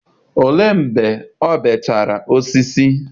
olee mgbe o beechara osisi?